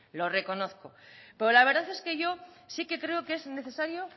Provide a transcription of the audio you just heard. lo reconozco pero la verdad es que yo sí que creo que es necesario